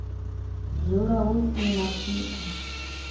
dzula hu si na tshika